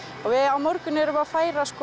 á morgun erum við að færa